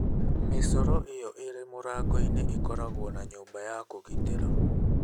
Mĩcoro ĩyo ĩrĩ mũrango-inĩ ĩkoragwo na nyũmba ya kũgitĩra.